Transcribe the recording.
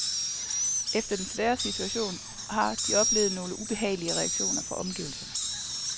Efter den svære situation, har de oplevet nogle ubehagelige reaktioner fra omgivelserne.